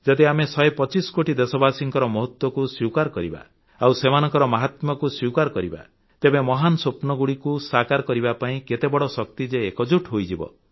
ଯଦି ଆମେ ୧୨୫ କୋଟି ଦେଶବାସୀଙ୍କର ମହତ୍ୱକୁ ସ୍ୱୀକାର କରିବା ଆଉ ସେମାନଙ୍କର ମାହାତ୍ମ୍ୟକୁ ସ୍ୱୀକାର କରିବା ତେବେ ମହାନ ସ୍ୱପ୍ନଗୁଡ଼ିକ ସାକାର କରିବା ପାଇଁ କେତେ ବଡ଼ ଶକ୍ତି ଯେ ଏକଜୁଟ୍ ହୋଇଯିବ